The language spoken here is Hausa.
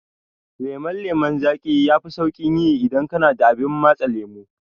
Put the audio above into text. Lemon lemon zaƙi yafi sauƙin yi idan kana da abar matse lemo.